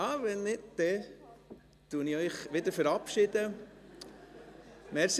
Ach so, wenn nicht, verabschiede ich Sie wieder.